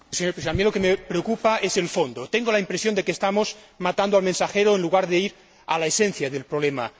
Señor Presidente, a mí lo que me preocupa es el fondo. Tengo la impresión de que estamos matando al mensajero, en lugar de ir a la esencia del problema.